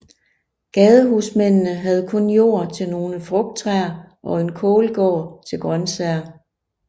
Gadehusmændene havde kun jord til nogle frugttræer og en kålgård til grøntsager